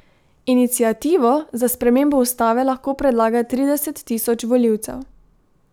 Iniciativo za spremembo ustave lahko predlaga trideset tisoč volivcev.